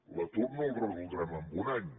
l’atur no el resoldrem en un any